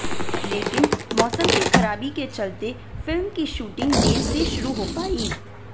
लेकिन मौसम की खराबी के चलते फिल्म की शूटिंग देर से शुरू हो पाई